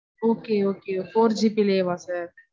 Okay, okay four GB லையேவா sir